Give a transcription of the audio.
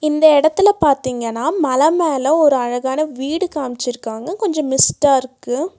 இந்த எடத்துல பாத்திங்கன்னா மல மேல ஒரு அழகான வீடு காம்சிருக்காங்க கொஞ்சோ மிஸ்டா இருக்கு.